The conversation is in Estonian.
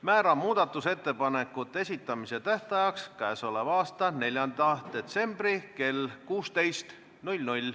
Määran muudatusettepanekute esitamise tähtajaks k.a 4. detsembri kell 16.